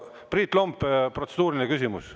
Aga Priit Lomp, protseduuriline küsimus.